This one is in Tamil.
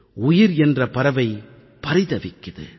உயிர் என்ற பறவை பரிதவிக்குது